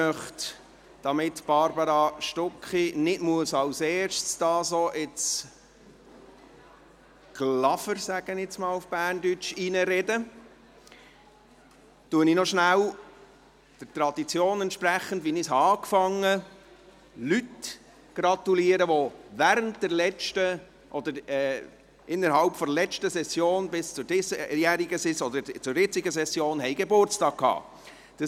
Damit Barbara Stucki nicht gleich als Erste in dieses «Glafer» – so sage ich das jetzt mal auf Berndeutsch – hineinreden muss, gratuliere ich der Tradition entsprechend, wie ich sie begonnen habe, noch schnell den Personen, die seit der letzten bis zur jetzigen Session Geburtstag hatten.